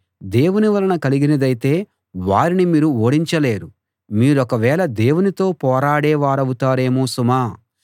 దేవుని వలన కలిగినదైతే వారిని మీరు ఓడించలేరు మీరొకవేళ దేవునితో పోరాడే వారవుతారేమో సుమా